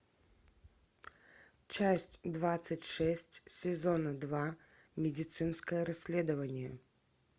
часть двадцать шесть сезона два медицинское расследование